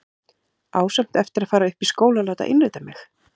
Á samt eftir að fara upp í skóla og láta innrita mig.